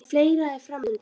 En fleira er fram undan.